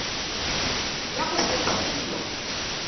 ya go se re selo